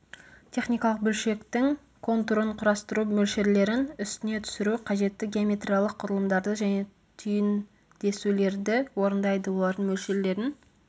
техникалық бөлшектің контурын құрастыру мөлшерлерін үстіне түсіру қажетті геометриялық құрылымдарды және түйіндесулерді орындайды олардың мөлшерлерін